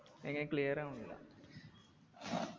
എങ്ങനെ clear ആവുന്നില്ല